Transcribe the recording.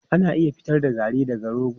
Ana iya fitar da garri daga rogo.